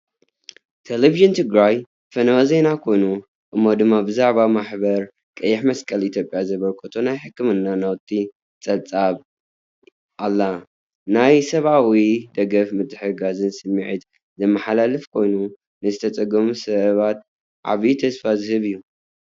ቴሌቪዥን ትግራይ ፈነወ ዜና ኮይኑ፡ እሞ ድማ ብዛዕባ ማሕበር ቀይሕ መስቀል ኢትዮጵያ ዘበርከቶ ናይ ሕክምና ናውቲ ጸብጺባ ኣላ። ናይ ሰብኣዊ ደገፍን ምትሕግጋዝን ስምዒት ዘመሓላልፍ ኮይኑ፡ ንዝተጸገሙ ሰባት ዓቢ ተስፋ ዝህብ እዩ።